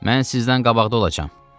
Mən sizdən qabaqda olacam.